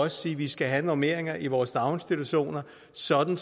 sige at vi skal have normeringer i vores daginstitutioner sådan